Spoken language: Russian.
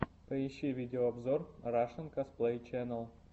поищи видеообзор рашэн косплей ченел